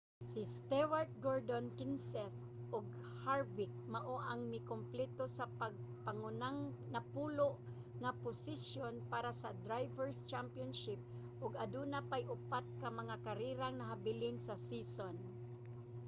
si stewart gordon kenseth ug harvick mao ang mikumpleto sa pangunang napulo nga posisyon para sa drivers' championship ug aduna pay upat ka mga karerang nahabilin sa season